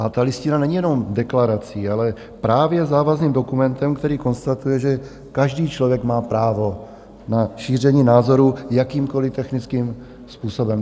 A ta Listina není jenom deklarací, ale právě závazným dokumentem, který konstatuje, že každý člověk má právo na šíření názoru jakýmkoliv technickým způsobem.